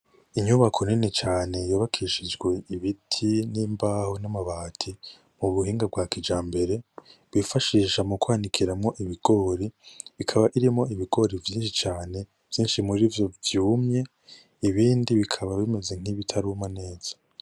Inyubako nini cane yubakishijwe ibiti, n'imbaho, n'amabati m'ubuhinga bwa kijambere, bifashisha mu kwanikiramwo ibigori, ikaba irimwo ibigori vyinshi cane vyinshi murivyo vyumye, ibindi bikaba bimeze nkibitaruma neza.